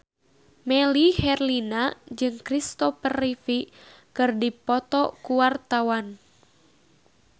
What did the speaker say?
Melly Herlina jeung Christopher Reeve keur dipoto ku wartawan